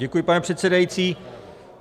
Děkuji, pane předsedající.